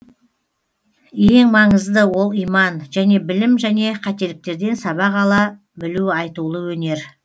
ең маңызды ол иман және білім және қателіктерден сабақ ала білу айтулы өнер